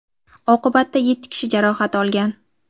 Oqibatda yetti kishi jarohat olgan.